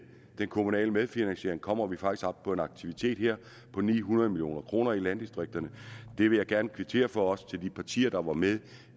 den kommunale medfinansiering kommer vi faktisk op på en aktivitet her på ni hundrede million kroner i landdistrikterne det vil jeg gerne kvittere for også de partier der var med